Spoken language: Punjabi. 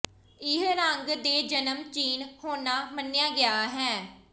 ਇਹ ਰੰਗ ਦੇ ਜਨਮ ਚੀਨ ਹੋਣਾ ਮੰਨਿਆ ਗਿਆ ਹੈ